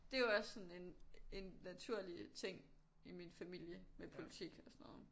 Det jo også sådan en en naturlig ting i min familie med politik og sådan noget